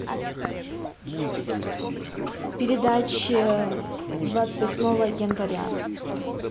передачи двадцать восьмого января